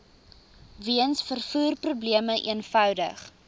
weens vervoerprobleme eenvoudig